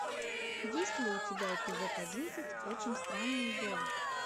есть ли у тебя эпизод одиннадцать очень странные дела